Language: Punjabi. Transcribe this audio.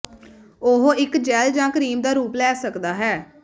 ਉਹ ਇੱਕ ਜੈੱਲ ਜ ਕਰੀਮ ਦਾ ਰੂਪ ਲੈ ਸਕਦਾ ਹੈ